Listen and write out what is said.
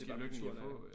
Det bare naturen af